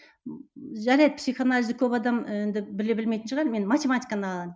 ммм жарайды психоанализді көп адам енді біле білмейтін шығар мен математиканы алайын